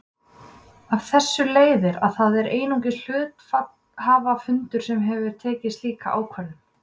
Af þessu leiðir að það er einungis hluthafafundur sem getur tekið slíka ákvörðun.